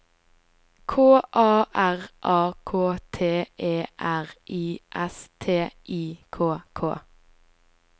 K A R A K T E R I S T I K K